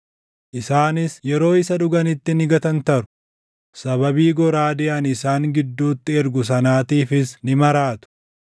Isaanis yeroo isa dhuganitti ni gatantaru; sababii goraadee ani isaan gidduutti ergu sanaatiifis ni maraatu.”